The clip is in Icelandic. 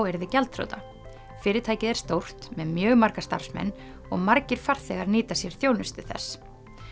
yrði gjaldþrota fyrirtækið er stórt með mjög marga starfsmenn og margir farþegar nýta sér þjónustu þess